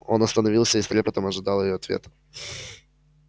он остановился и с трепетом ожидал её ответа